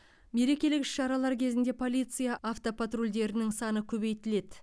мерекелік іс шаралар кезінде полиция автопатрульдерінің саны көбейтіледі